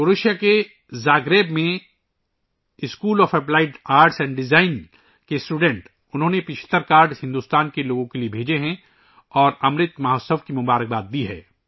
کروشیا کے زاگریب میں school of applied arts and design کے طلباء نے یہ 75 کارڈ ہندوستان کے لوگوں کو بھیجے ہیں اور امرت مہوتسو کی مبارکباد دی ہے